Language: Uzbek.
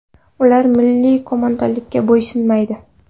Ular milliy qo‘mondonlikka bo‘ysunmaydi.